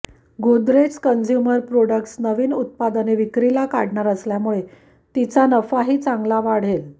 Godrej consumer products नवीन उत्पादने विक्रीला काढणार असल्यामुळे तिचा नफाही चांगला वाढेल